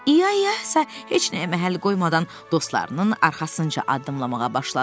İya İya isə heç nəyə məhəl qoymadan dostlarının arxasınca addımlamağa başladı.